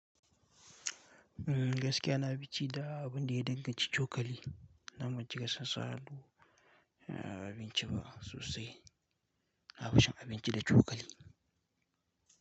Mm gaskiya na fi ci da abun da ya danganci cokali, dan bancika san sa hannu, a abinci ba sosai. Na fi cin abinci da cokali.